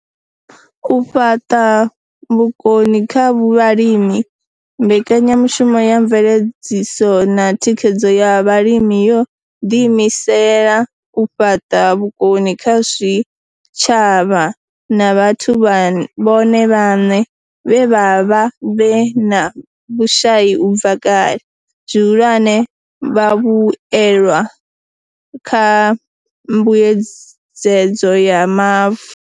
U fhaṱa vhukoni kha vhalimi Mbekanya mushumo ya Mveledziso na Thikhedzo ya Vhalimi yo ḓiimisela u fhaṱa vhukoni kha zwitshavha na vhathu vhone vhaṋe vhe vha vha vhe na vhushai u bva kale, zwihulwane, vhavhuelwa kha Mbuedzedzo ya Mavu.